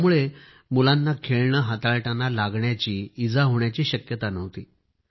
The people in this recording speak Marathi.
त्यामुळे मुलांना खेळणे हाताळताना लागण्याची इजा होण्याचीही शक्यता नव्हती